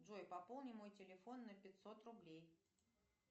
джой пополни мой телефон на пятьсот рублей